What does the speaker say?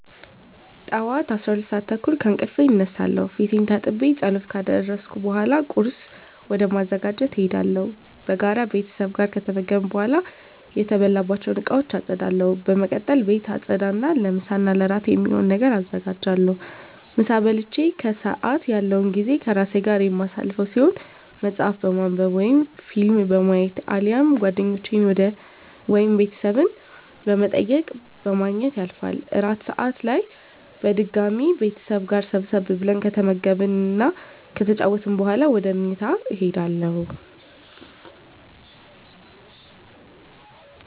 ጠዋት 12:30 ከእንቅልፌ እነሳለሁ። ፊቴን ታጥቤ ፀሎት ካደረስኩ በኃላ ቁርስ ወደ ማዘጋጀት እሄዳለሁ። በጋራ ቤተሰብ ጋር ከተመገብን በኃላ የተበላባቸውን እቃወች አፀዳለሁ። በመቀጠል ቤት አፀዳ እና ለምሳ እና እራት የሚሆን ነገር አዘጋጃለሁ። ምሳ በልቼ ከሰአት ያለው ጊዜ ከራሴ ጋር የማሳልፈው ሲሆን መፀሀፍ በማንብ ወይም ፊልም በማየት አሊያም ጓደኞቼን ወይም ቤተሰብ በመጠየቅ በማግኘት ያልፋል። እራት ሰአት ላይ በድጋሚ ቤተሰብ ጋር ሰብሰብ ብለን ከተመገብን እና ከተጨዋወትን በኃላ ወደ ምኝታ እሄዳለሁ።